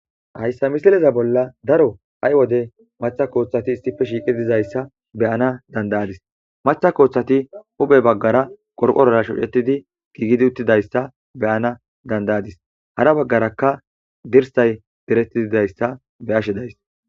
Hayssa misileza bolla daro hay wode matha kooththati istife shiiqi dizayssa beyana dandayadis matha kooththati huphe baggara qorqorara shucetidi giigidi uttidayssa beyana dandayadis hara baggarakka dirsay direttiidayssa beashe de'ayis